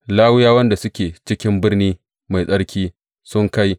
Lawiyawan da suke cikin birni mai tsarki sun kai